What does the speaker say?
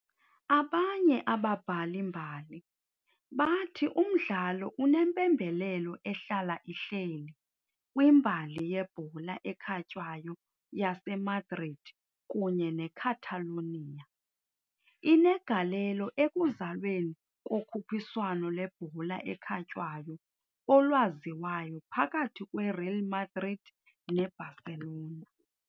Abanye ababhali-mbali bathi umdlalo unempembelelo ehlala ihleli kwimbali yebhola ekhatywayo yaseMadrid kunye neCatalonia, inegalelo ekuzalweni kokhuphiswano lwebhola ekhatywayo olwaziwayo phakathi kweReal Madrid neBarcelona."